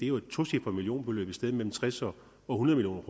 jo et tocifret millionbeløb et sted mellem tres og hundrede